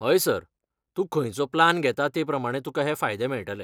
हय, सर, तूं खंयचो प्लान घेता तेप्रमाणें तुका हे फायदे मेळटले.